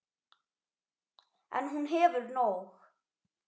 En hún hefur nóg.